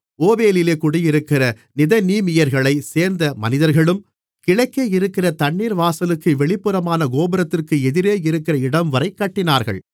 ஓபேலிலே குடியிருக்கிற நிதனீமியர்களைச் சேர்ந்த மனிதர்களும் கிழக்கேயிருக்கிற தண்ணீர்வாசலுக்கு வெளிப்புறமான கோபுரத்திற்கு எதிரேயிருக்கிற இடம்வரை கட்டினார்கள்